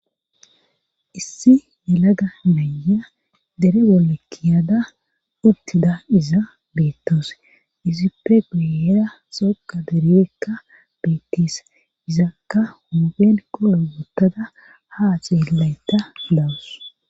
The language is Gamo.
Issi melaga mayya dere bolekkiyada uttida iza beettoos izippe guyera xooka deribekka beettis izakka humuphen qoro guttada ha xeellayta dawus